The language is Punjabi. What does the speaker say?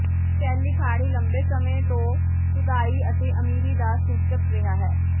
ਸ਼ੈਲੀ ਖਾੜੀ ਲੰਬੇ ਸਮੇਂ ਤੋਂ ਸੁਧਾਈ ਅਤੇ ਅਮੀਰੀ ਦਾ ਸੂਚਕ ਰਿਹਾ ਹੈ